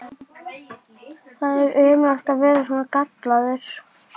Er það viðunandi?